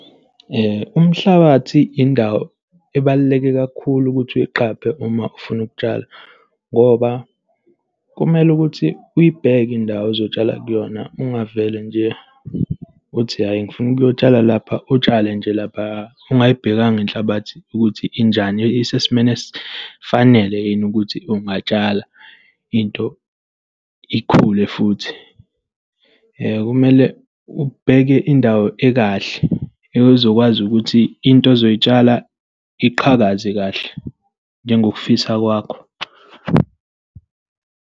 Umhlabathi indawo ebaluleke kakhulu ukuthi uyiqaphe uma ufuna ukutshala, ngoba kumele ukuthi uyibheke indawo ozotshala kuyona. Ungavele nje uthi hhayi, ngifuna ukuyotshala lapha, utshale nje laphaya ungayibhekanga inhlabathi ukuthi injani, isesimeni esifanele yini ukuthi ungatshala into ikhule futhi. Kumele ubheke indawo ekahle ezokwazi ukuthi into ozoy'tshala iqhakaze kahle njengokufisa kwakho.